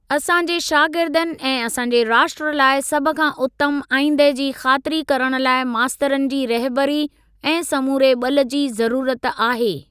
असांजे शागिर्दनि ऐं असांजे राष्ट्र लाइ सभ खां उतमु आईंदह जी ख़ातिरी करण लाइ मास्तरनि जी रहबरी ऐं समूरे ॿल जी ज़रूरत आहे।